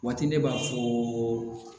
Waati ne b'a fɔ